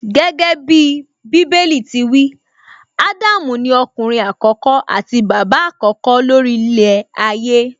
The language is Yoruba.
Gẹ́gẹ́bí Bíbélì ti wí, Ádámù ni ọkùnrin àkọ́kọ́ àti bàbá àkọ́kọ́ ló rí ilẹ̀ ayé